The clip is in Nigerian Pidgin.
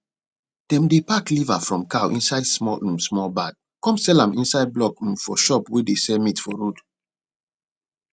dem dey pack liver from cow inside small um small bag come sell am inside block um for shop wey dey sell meat for road